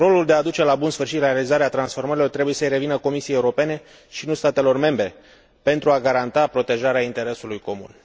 Rolul de aduce la bun sfârșit realizarea transformărilor trebuie să i revină Comisiei Europene, și nu statelor membre, pentru a garanta protejarea interesului comun.